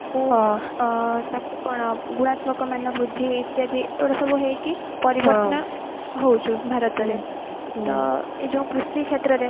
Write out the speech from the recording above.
ଅ ତାକୁ କଣ ଗୁଣାତ୍ମକ ମାନ ବୃଦ୍ଧି ଇତ୍ୟାଦି ଏଗୁଡା ସବୁ ହେଇକି ହଉଛି ଭାରତରେ ତ ଏଇ ଯୋଉ କୃଷି କ୍ଷେତ୍ର ରେ